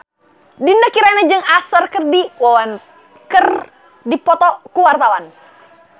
Dinda Kirana jeung Usher keur dipoto ku wartawan